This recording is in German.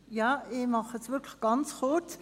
Ja, ich mache es wirklich ganz kurz.